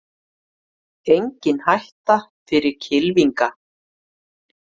Engin hætta fyrir kylfinga